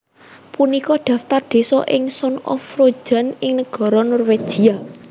Punika dhaftar désa ing Sogn og Fjordane ing negara Norwegia